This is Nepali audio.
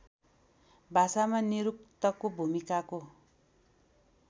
भाषामा निरुक्तको भूमिकाको